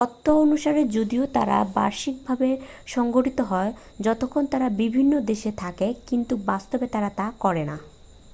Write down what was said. তত্ত্ব অনুসারে যদিও তারা বার্ষিকভাবে সংঘটিত হয় যতক্ষণ তারা বিভিন্ন দেশে থাকে কিন্তু বাস্তবে তারা তা করে না।